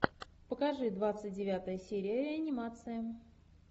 покажи двадцать девятая серия реанимация